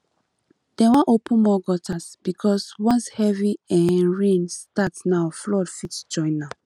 dem wan open more gutters because once heavy um rain start now flood fit join am